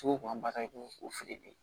Sugu b'an ba ta i b'o o fili de